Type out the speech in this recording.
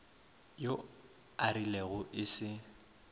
yo a rilego e se